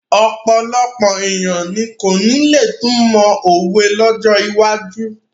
Ọ̀pọ̀lọpọ̀ ènìyàn ni kò ní lè túmọ̀ òwe lọ́jọ́ iwájú.